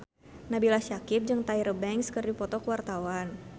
Nabila Syakieb jeung Tyra Banks keur dipoto ku wartawan